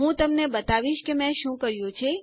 હું તમને બતાવીશ કે મેં શું કર્યું છે